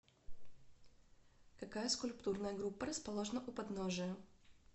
какая скульптурная группа расположена у подножия